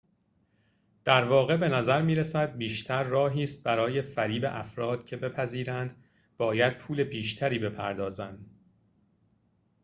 در واقع بنظر می‌رسد بیشتر راهی است برای فریب افراد که بپذیرند باید پول بیشتری بپردازند